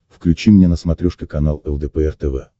включи мне на смотрешке канал лдпр тв